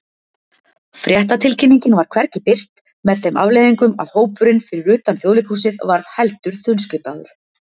Fréttatilkynningin var hvergi birt, með þeim afleiðingum að hópurinn fyrir utan Þjóðleikhúsið varð heldur þunnskipaður.